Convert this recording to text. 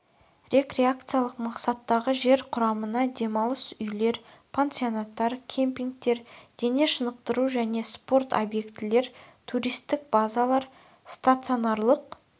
рекреациялық мақсаттағы жер құрамына демалыс үйлер пансионаттар кемпингтер дене шынықтыру және спорт объектілер туристік базалар стационарлық